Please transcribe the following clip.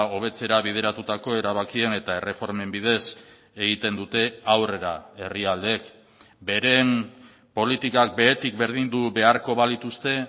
hobetzera bideratutako erabakien eta erreformen bidez egiten dute aurrera herrialdeek beren politikak behetik berdindu beharko balituzte